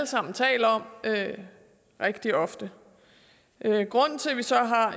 sammen taler om rigtig ofte grunden til at vi så har